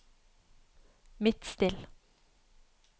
Midtstill